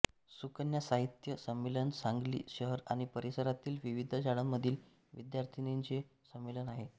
सुकन्या साहित्य संमेलन सांगली शहर आणि परिसरातील विविध शाळांमधील विद्यार्थिनींचे संमेलन आहे